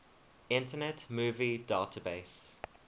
internet movie database